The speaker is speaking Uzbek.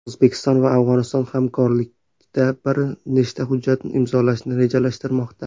O‘zbekiston va Afg‘oniston hamkorlikda bir nechta hujjat imzolashni rejalashtirmoqda.